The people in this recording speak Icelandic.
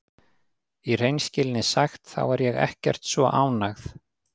Í hreinskilni sagt þá er ég ekkert svo ánægð.